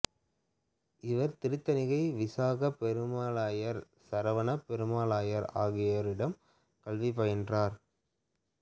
இவர் திருத்தணிகை விசாகப் பெருமாளையர் சரவணப் பெருமாளையர் ஆகியோரிடம் கல்வி பயின்றுள்ளார்